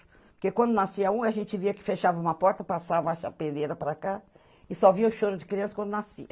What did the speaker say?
Porque quando nascia um, a gente via que fechava uma porta, passava a chapeleira para cá, e só via o choro de criança quando nascia.